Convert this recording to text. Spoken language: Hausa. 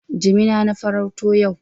Jimina na farauto yau.